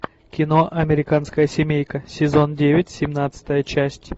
кино американская семейка сезон девять семнадцатая часть